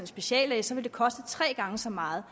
speciallæge så vil det koste tre gange så meget